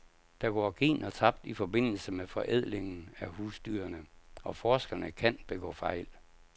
Der går gener tabt i forbindelse med forædlingen af husdyrene, og forskerne kan begå fejl.